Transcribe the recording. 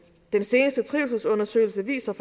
den seneste trivselsundersøgelse viser